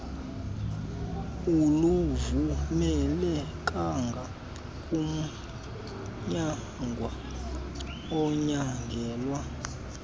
aluvumelekanga kumnyangwa onyangelwa